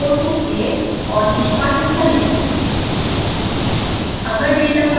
इस scilab code को save और निष्पादित करें